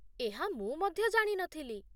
ଏହା ମୁଁ ମଧ୍ୟ ଜାଣି ନଥିଲି